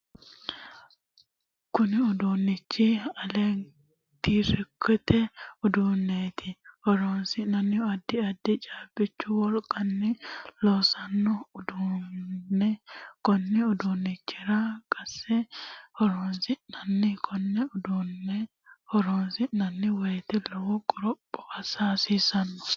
Kunni uduunichi elekitiroonikisete uduuneeti. Horosino addi addi caabichu wolqanni loosano uduune konni uduunichira qanse horoonsi'nanni. Konne uduune horoonsi'nanni woyite lowo qoropho assa hasiissano.